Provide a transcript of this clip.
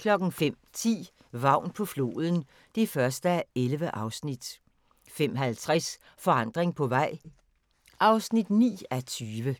05:10: Vagn på floden (1:11) 05:50: Forandring på vej (9:20)